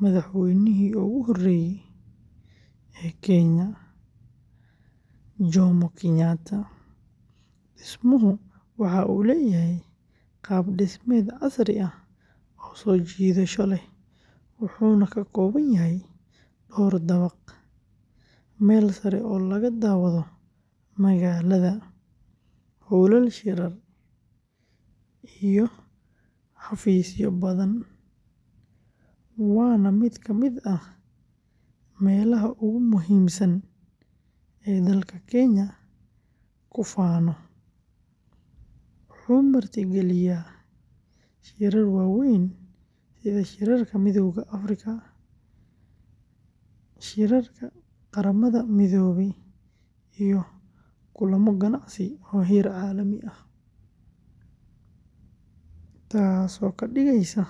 madaxweynihii ugu horreeyay ee Kenya, Jomo Kenyatta, dhismuhu waxa uu leeyahay qaab-dhismeed casri ah oo soo jiidasho leh, wuxuuna ka kooban yahay dhowr dabaq, meel sare oo laga daawado magaalada, hoolal shirar iyo xafiisyo badan, waana mid ka mid ah meelaha ugu muhiimsan ee dalka Kenya ku faano, wuxuu martigeliyay shirar waaweyn sida shirarka Midowga Afrika, shirarka Qaramada Midoobay iyo kulamo ganacsi oo heer caalami ah, taasoo ka dhigaysa.